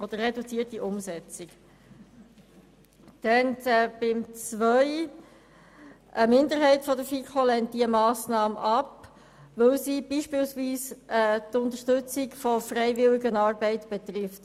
Zu Ziffer 2: Eine Minderheit der FiKo lehnt diese Massnahme ab, weil sie zum Beispiel die Unterstützung von Freiwilligenarbeit betrifft.